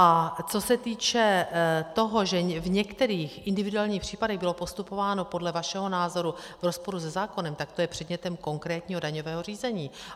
A co se týče toho, že v některých individuálních případech bylo postupováno podle vašeho názoru v rozporu se zákonem, tak to je předmětem konkrétního daňového řízení.